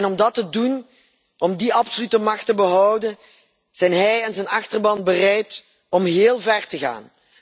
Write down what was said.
Om dat te doen, om die absolute macht te behouden, zijn hij en zijn achterban bereid heel ver te gaan.